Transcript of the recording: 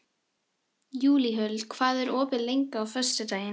Júlíhuld, hvað er opið lengi á föstudaginn?